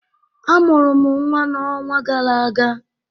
A mụrụ m nnwa n'ọnwa gara aga